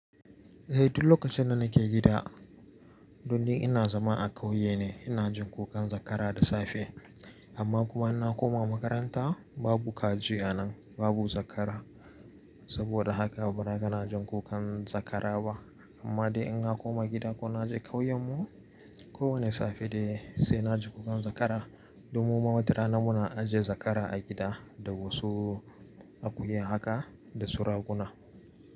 Eh duk lokacin da nake gida don dai ina zama a ƙauye ne, ina jin kukan zakara da safe amma kuma in na koma makaranta babu kaji a nan babu zakara. Saboda haka ba ra ka na jin kukan zakara ba amma dai in na koma gida ko na je ƙauyen mu ko wane safe dai sai na ji kukan zakara. Don mu ma wata rana muna ajiye zakara a gida da wasu akuya haka da su raguna.